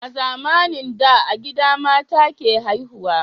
A zamanin da a gida mata ke haihuwa